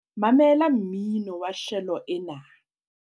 mamela mmino wa shelo ena